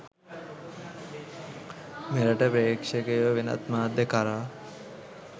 මෙරට පේ්‍රක්ෂකයෝ වෙනත් මාධ්‍ය කරා